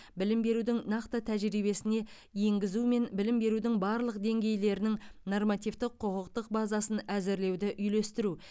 білім берудің нақты тәжірибесіне енгізу мен білім берудің барлық деңгейлерінің нормативтік құқықтық базасын әзірлеуді үйлестіру